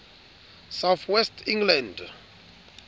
south west england